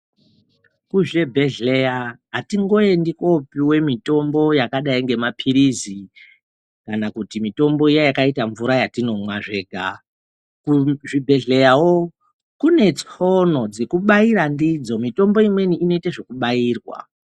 Kuzvibhehlera atingo endi kopiwe mitombo yakadai ngemapilizi kana kuti mitombo iya yakaite mvura yatinomwa zvenga, kuzvibhehleyawo kune tsono dzekubaira ndidzo, mitombo imweni inoite zvekubairwa.